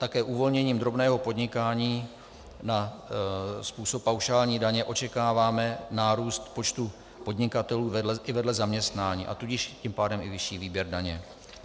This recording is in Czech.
Také uvolněním drobného podnikání na způsob paušální daně očekáváme nárůst počtu podnikatelů i vedle zaměstnání, a tudíž tím pádem i vyšší výběr daně.